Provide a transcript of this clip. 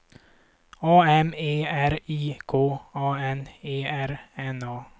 A M E R I K A N E R N A